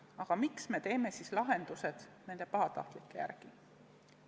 Aga miks me teeme siis lahendused nende pahatahtlike järgi?